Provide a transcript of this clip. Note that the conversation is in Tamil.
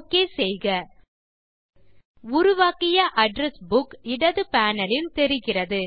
ஒக் செய்க உருவாக்கியaddress புக் இடது பேனல் லில் தெரிகிறது